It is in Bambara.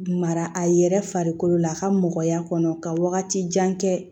Mara a yɛrɛ farikolo la a ka mɔgɔya kɔnɔ ka wagati jan kɛ